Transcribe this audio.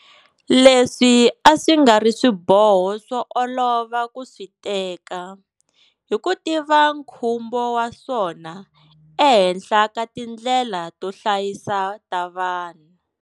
Leswi a swi nga ri swiboho swo olova ku swi teka, hi ku tiva nkhumbo wa swona ehenhla ka tindlela to hlayisa ta vanhu.